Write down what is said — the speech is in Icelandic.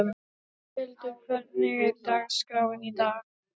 Geirhildur, hvernig er dagskráin í dag?